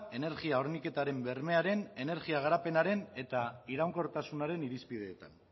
energia horniketaren bermearen energia garapenaren eta iraunkortasunaren irizpideetan